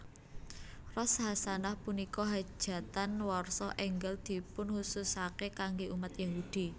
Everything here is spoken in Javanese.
Rosh hasanah Punika hajatan warsa enggal dipunkhususake kangge umat Yahudi